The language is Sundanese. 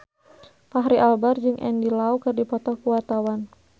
Fachri Albar jeung Andy Lau keur dipoto ku wartawan